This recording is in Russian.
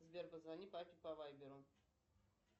сбер позвони папе по вайберу